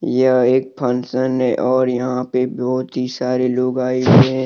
यह एक फंसन है और यहां पे बहुत सारे लोग आए हुए--